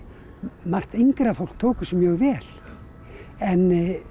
margt yngra fólk tók þessu mjög vel en